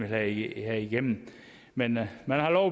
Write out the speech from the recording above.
have igennem men man har lov